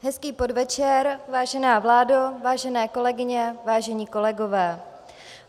Hezký podvečer, vážená vládo, vážené kolegyně, vážení kolegové.